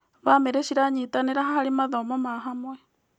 Bamĩrĩ ciranyitanĩra harĩ mathomo ma hamwe.